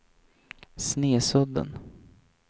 Snesudden